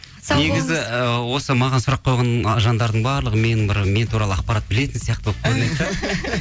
негізі ы осы маған сұрақ қойған жандардың барлығы менің бір мен туралы ақпарат білетін сияқты болып көрінеді де